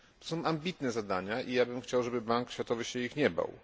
To są ambitne zadania i ja bym chciał, żeby Bank Światowy się ich nie bał.